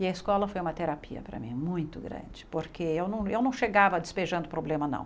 E a escola foi uma terapia para mim, muito grande, porque eu não eu não chegava despejando problema, não.